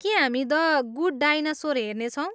के हामी the good dinosaur हेर्नेछौँ?